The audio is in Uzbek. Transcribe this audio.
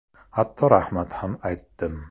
Hatto rahmat ham aytdim.